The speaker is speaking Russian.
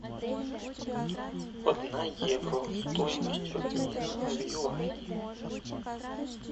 одна евро стоимость обмена в юани